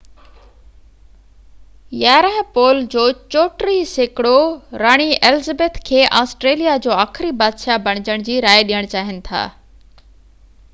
پول جو 34 سيڪڙو راڻي ايلزبيٿ ii کي آسٽريليا جو آخري بادشاهه بڻجڻ جي راءِ ڏين چاهين ٿا